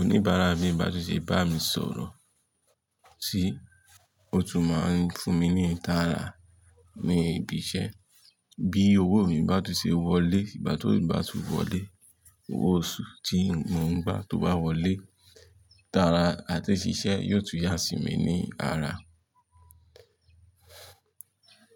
oníbàárà mi bá tún ṣe bá mi sọ̀rọ̀ sí, ó tún máa ń fún mi ní ìtara ní ibi iṣẹ́. Bí owó mi bá tún ṣe wọlé, ìgbà tó bá tún wọlé, owó oṣù tí mo ń gbà tó bá wọlé, ìtara àti ṣiṣẹ́ yóò tún yá sí mi ní ara.